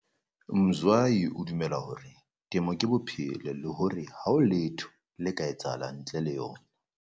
Mzwayi o dumela hore temo ke bophelo le hore ha ho letho le ka etsahalang ntle le yona.